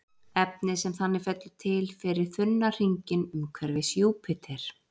Efnið sem þannig fellur til fer í þunna hringinn umhverfis Júpíter.